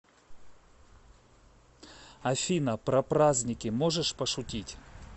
афина про праздники можешь пошутить